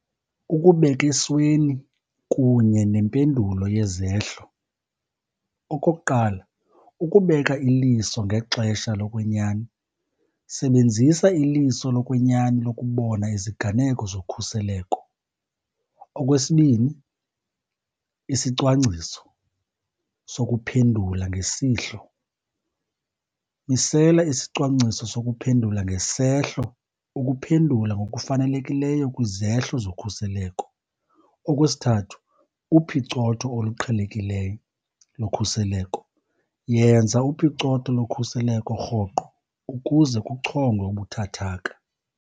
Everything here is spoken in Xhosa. Ukubeka esweni kunye nempendulo yezehlo. Okokuqala, ukubeka iliso ngexesha lokwenyani, sebenzisa iliso lokwenyani lokubona iziganeko zokhuseleko. Okwesibini, isicwangciso sokuphendula ngesihlo. Misela isicwangciso sokuphendula ngesehlo ukuphendula ngokufanelekileyo kwizehlo zokhuseleko. Okwesithathu, uphicotho oluqhelekileyo lokhuseleko. Yenza uphicotho lokhuseleko rhoqo ukuze kuchongwe ubuthathaka.